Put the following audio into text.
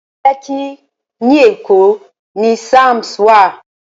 Lẹ́kkí ní Èkó ni Palms wà